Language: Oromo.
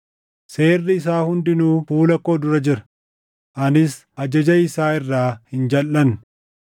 Seerri isaa hundinuu fuula koo dura jira; anis ajaja isaa irraa hin jalʼanne.